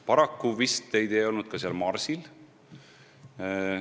Paraku vist teid ei olnud seal marsil.